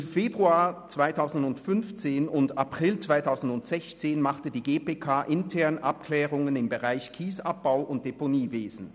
Zwischen Februar 2015 und April 2016 machte die GPK interne Abklärungen im Bereich Kiesabbau und Deponiewesen.